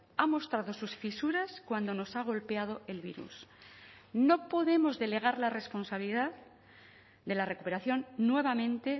ha mostrado sus fisuras cuando nos ha golpeado el virus no podemos delegar la responsabilidad de la recuperación nuevamente